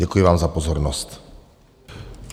Děkuji vám za pozornost.